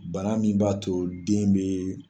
Bana min b'a to den bɛ.